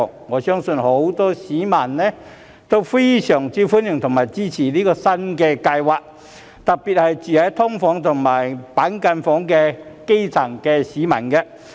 我相信很多市民都非常歡迎和支持這項新計劃，特別是住在"劏房"和板間房的基層市民。